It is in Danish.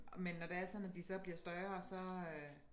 Men når det er sådan at de så bliver større så øh